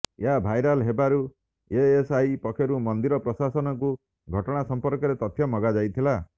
ଏହା ଭାଇରାଲ୍ ହେବାରୁ ଏଏସ୍ଆଇ ପକ୍ଷରୁ ମନ୍ଦିର ପ୍ରଶାସନକୁ ଘଟଣା ସମ୍ପର୍କରେ ତଥ୍ୟ ମାଗା ଯାଇଥିଲା